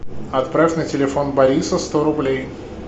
отправь на телефон бориса сто рублей